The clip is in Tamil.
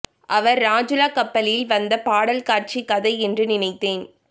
அவர் ரஜூலா கப்பலில் வந்த பாடல் காட்சி கதை என்று நினைத்தேன்